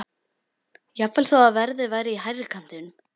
Jafnvel þó að verðið væri í hærri kantinum.